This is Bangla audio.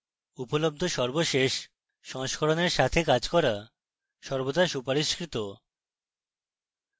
উপলব্ধ সর্বশেষ স্থিতিশীল সংস্করণের সাথে কাজ করা সর্বদা সুপারিশকৃত